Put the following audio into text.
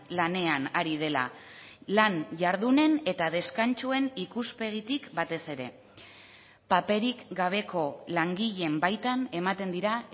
lanean ari dela lan jardunen eta deskantsuen ikuspegitik batez ere paperik gabeko langileen baitan ematen dira